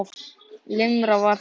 Limran var þannig: